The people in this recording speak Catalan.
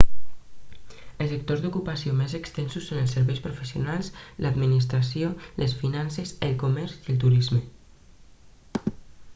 els sectors d'ocupació més extensos són els serveis professionals l'administració les finances el comerç i el turisme